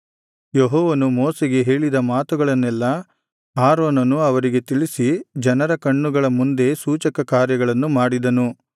ಯೆಹೋವನು ಮೋಶೆಗೆ ಹೇಳಿದ ಮಾತುಗಳನ್ನೆಲ್ಲಾ ಆರೋನನು ಅವರಿಗೆ ತಿಳಿಸಿ ಜನರ ಕಣ್ಣುಗಳ ಮುಂದೆ ಸೂಚಕಕಾರ್ಯಗಳನ್ನು ಮಾಡಿದನು